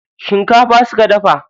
Shinkafa suka dafa.